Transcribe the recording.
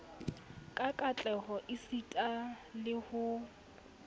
ka katleho esita le ho